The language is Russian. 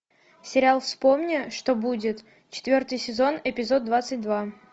сериал вспомни что будет четвертый сезон эпизод двадцать два